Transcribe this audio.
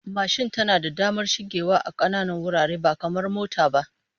Mashin tana da damar shigewa ta kananan wurare ba kamar mota ba